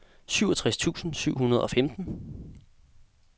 syvogtres tusind syv hundrede og femten